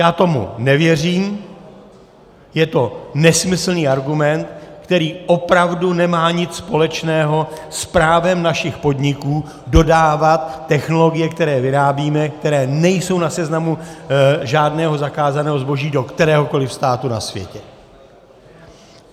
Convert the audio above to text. Já tomu nevěřím, je to nesmyslný argument, který opravdu nemá nic společného s právem našich podniků dodávat technologie, které vyrábíme, které nejsou na seznamu žádného zakázaného zboží do kteréhokoli státu na světě.